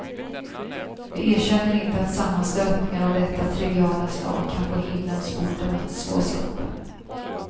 Vi erkänner inte att sammanstötningar av detta triviala slag kan få himlens portar att slås upp.